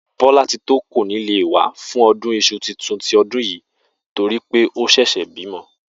Bó̩látitó kò ní lè wá fún o̩dún is̩u tuntun ti o̩dún yìí to rí pé ó s̩è̩s̩è̩ bímo̩